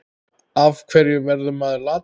Af hverju verður maður latur?